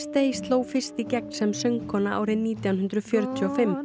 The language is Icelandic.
Day sló fyrst í gegn sem söngkona árið nítján hundruð fjörutíu og fimm